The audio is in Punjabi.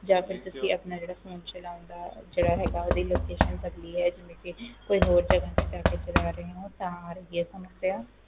ਆ ਫੇਰ ਤੁਸੀਂ ਆਪਣਾ ਜਿਹੜਾ phone ਚਲਾਉਣ ਦਾ ਜਿਹੜਾ ਹੈਗਾ ਜਗਾਹ ਬਦਲੀ ਹੈਕੋਈ ਹੋਰ ਜਗਾਹ ਤੇ ਜਾ ਕੇ ਚਲਾ ਰਹੇ ਹੋ ਤਾਂ ਆ ਰਹੀ ਏ ਤੁਹਾਨੂੰ ਇਹ ਸਮੱਸਿਆ